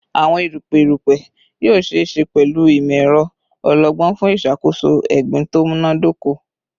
Awọn erupẹ erupẹ yoo ṣee ṣe pẹlu imọ-ẹrọ ọlọgbọn fun iṣakoso egbin to munadoko